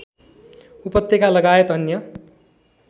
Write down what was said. उपत्यकालगायत अन्य